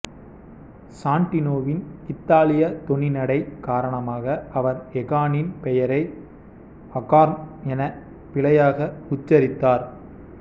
சான்டினோவின் இத்தாலிய தொனிநடை காரணமாக அவர் எகானின் பெயரை அகார்ன் என பிழையாக உச்சரித்தார்